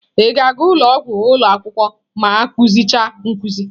Ị ga-aga ụlọ ọgwụ ụlọ akwụkwọ ma akụzi cha nkuzi?